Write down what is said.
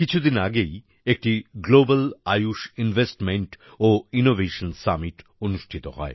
কিছুদিন আগেই একটি গ্লোবাল আয়ুশ ইনভেস্টমেন্ট ও ইনোভেশন সামিট অনুষ্ঠিত হয়